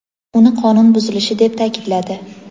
uni qonun buzilishi deb ta’kidladi.